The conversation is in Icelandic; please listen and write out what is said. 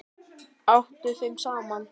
Atti þeim saman.